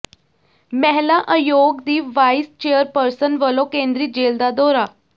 ਮਹਿਲਾ ਅਯੋਗ ਦੀ ਵਾਈਸ ਚੇਅਰਪਰਸਨ ਵਲੋਂ ਕੇਂਦਰੀ ਜੇਲ੍ਹ ਦਾ ਦੌਰਾ